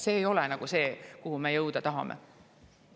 See ei ole see, kuhu me jõuda tahame.